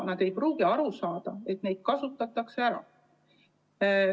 Nad ei pruugi aru saada, et neid kasutatakse ära.